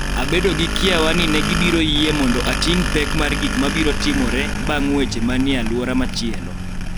Abedo gi kiawa ni ne gibiro yie mondo ating� pek mar gik ma biro timore bang� weche ma ni e alwora machielo.